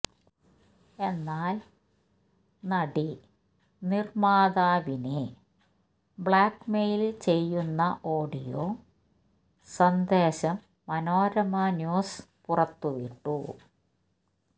എന്നാല് നടി നിര്മ്മാതാവിനെ ബ്ലാക്ക് മെയില് ചെയ്യുന്ന ഓഡിയോ സന്ദേശം മനോരമ ന്യൂസ് പുറത്തുവിട്ടു